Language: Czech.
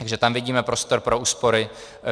Takže tam vidíme prostor pro úspory.